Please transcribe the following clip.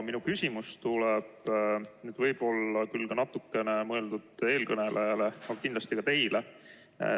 Minu küsimus tuleb võib-olla natuke mõeldult eelkõnelejale, ent kindlasti ka teile.